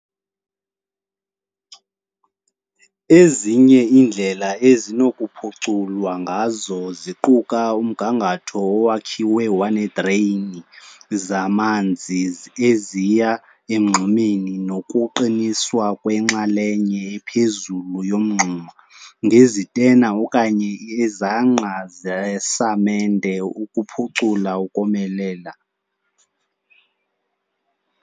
Ezinye iindlela ezinokuphuculwa ngazo ziquka umgangatho owakhiwe waneedreyini zamanzi eziya emngxumeni nokuqiniswa kwenxalenye ephezulu yomngxuma ngezitena okanye izangqa zesamente ukuphucula ukomelela.